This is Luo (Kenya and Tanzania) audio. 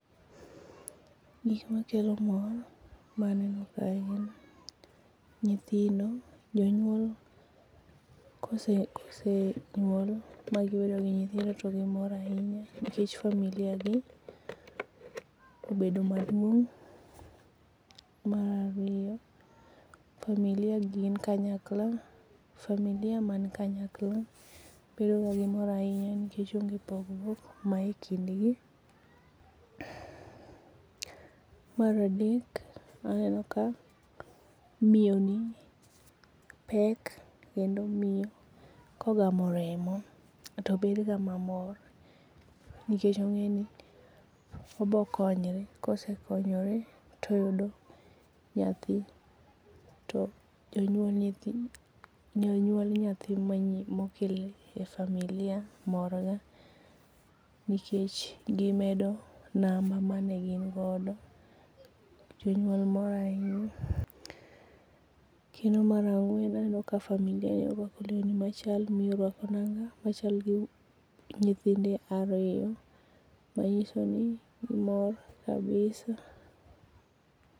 Gikma kelo mor maneno kae gin nyithindo, jonyuol kose kose nyuol magibedo gi nyithindo to gimor ahinya nikech familia gi obedo maduong mar ariyo familia gin kanyakla, familia man kanyakla bedo ka gimor ahinya nikech onge thagruok manie kindgi. Mar adek aneo ka miyo ni pek kendo mioyo kogamo remo to bedo ga mamor nikech ongeni obo konyre ,kosekonyre to oyudo nyathi to jonyuol nyathi mokel ne familia mor ga nikech gimedo namba mane gin go, jonyuol mor ahinya. Kedo mar angwen aneno ka familia orwako lewni machal, miyoni orwako nanga machal gi nyithinde ariyo manyiso ni gimor kabisa